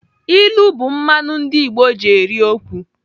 Ilu bụ mmanụ ndị Igbo ji eri okwu.